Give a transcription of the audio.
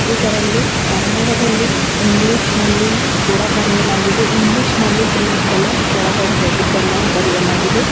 ಇದರಲ್ಲಿ ಕನ್ನಡದಲ್ಲಿ ಇಂಗ್ಲಿಷ್ ನಲ್ಲಿಯೂ ಕೂಡ ಬರೆಯಲಾಗಿದೆ ಇಂಗ್ಲಿಷ್ನಲ್ಲಿ ಗ್ರೀನ್ ಕಲರ್ ಕೆಳಗಡೆ ರೆಡ್ ಕಲರ್ ಬರೆಯಲಾಗಿದೆ.